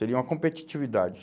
Seria uma competitividade.